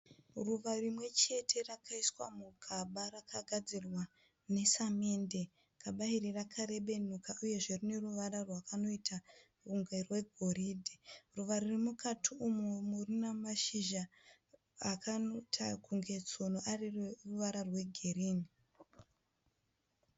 Ruva rimwechete rakaiswa mugaba rakagadzirwa nesamende. Gaba iri rakarebenuka uyezve rineruvara rwakanoita kunge rwegoridhe. Ruva ririmukati umumu rinamashizha akanoita kunge tsono aine ruvara rwegirinhi.